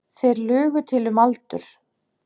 Þeir lugu til um aldur.